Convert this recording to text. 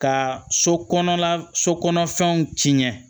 Ka so kɔnɔna so kɔnɔ fɛnw tiɲɛ